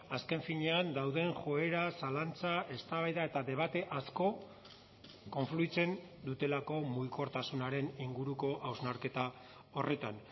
azken finean dauden joera zalantza eztabaida eta debate asko konfluitzen dutelako mugikortasunaren inguruko hausnarketa horretan